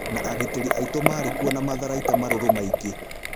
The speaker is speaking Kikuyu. Na agitĩri aitũmarĩkuo na matharaita marũrũmaingĩ.